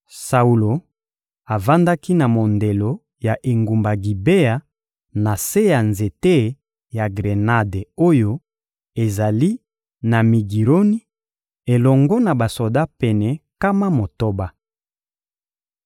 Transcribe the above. Saulo avandaki na mondelo ya engumba Gibea, na se ya nzete ya grenade oyo ezali na Migironi, elongo na basoda pene nkama motoba.